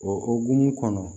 O o hukumu kɔnɔ